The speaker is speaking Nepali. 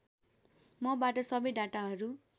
मबाट सबै डाटाहरू